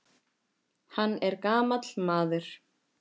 Hann er gamall maður.